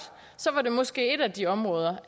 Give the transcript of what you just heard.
så var det måske et af de områder